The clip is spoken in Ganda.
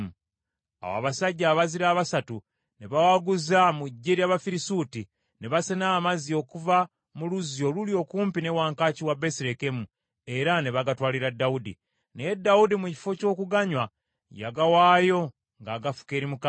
Awo abasajja abazira abasatu ne bawaguza mu ggye ly’Abafirisuuti, ne basena amazzi okuva mu luzzi oluli okumpi ne wankaaki wa Besirekemu, era ne bagatwalira Dawudi. Naye Dawudi mu kifo ky’okuganywa yagawaayo ng’agafuka eri Mukama .